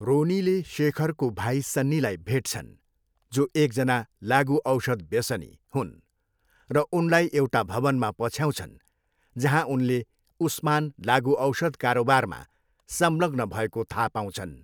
रोनीले शेखरको भाइ सन्नीलाई भेट्छन्, जो एकजना लागुऔषध व्यसनी हुन्, र उनलाई एउटा भवनमा पछ्याउँछन्, जहाँ उनले उस्मान लागुऔषध कारोबारमा संलग्न भएको थाहा पाउँछन्।